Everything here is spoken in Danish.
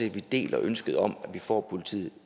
at vi deler ønsket om at vi får politiet